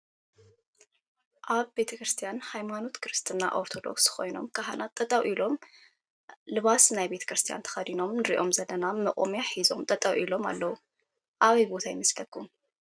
ኣብ ቤተክርስትያን ሃይማኖት ክርትና ኦርቶዶክስ ኮይኖም ካህናት ጠጠው ኢሎም ልባሳት ናይ ቤተክርስትያን ተኸዲኖም እንሪኦም ዘለና መቆምያ ሒዞም ጠጠው ኢሎም ኣለዉ። ኣበይ ቦታ ይመስለኩም?